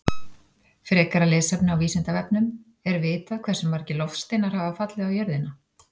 Frekara lesefni á Vísindavefnum: Er vitað hversu margir loftsteinar hafa fallið á jörðina?